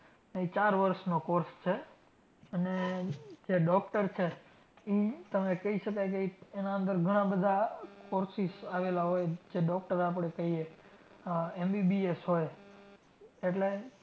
અને જે doctor છે ઈ તમે કહી શકાય કે ઈ એના અંદર ઘણાં બધાં courses આવેલા હોય જે doctor આપણે કહીએ. આહ MBBS હોય એટલે